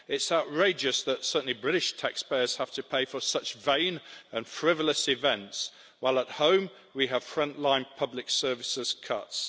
It's outrageous that, certainly, British taxpayers have to pay for such vain and frivolous events, while at home we have front line public services cuts.